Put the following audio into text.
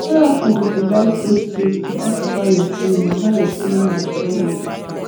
therapy dey provide safe space to talk about your feeling about your feeling and struggle